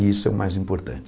E isso é o mais importante.